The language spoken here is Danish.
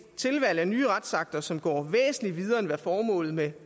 tilvalg af nye retsakter som går væsentligt videre end hvad formålet med